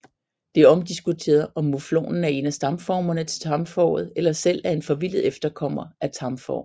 Det er omdiskuteret om muflonen er en af stamformerne til tamfåret eller selv er en forvildet efterkommer af tamfår